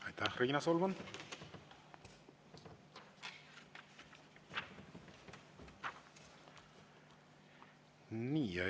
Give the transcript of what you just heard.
Aitäh, Riina Solman!